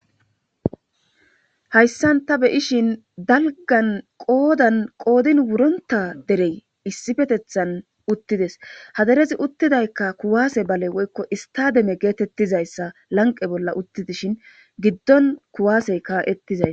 Hayssan ta beyishin dalgan qoodan qoodin wurena derey issipetethan utti dees .Ha darezi uttidaykka kuwaase bale woykko istademe geetettiza issan lanqe bolla uttidishin giddon kuwaasey ka'ettizay.